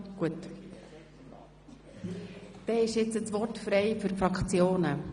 Dann ist das Wort frei für die Fraktionen.